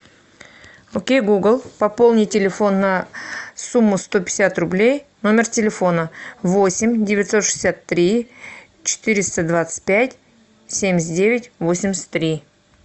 окей гугл пополни телефон на сумму сто пятьдесят рублей номер телефона восемь девятьсот шестьдесят три четыреста двадцать пять семьдесят девять восемьдесят три